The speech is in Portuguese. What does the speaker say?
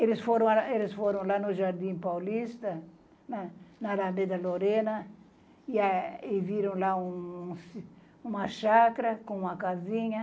Eles foram, eles foram lá no Jardim Paulista, na Alameda Lorena, e a e viram lá uma chácara com uma casinha.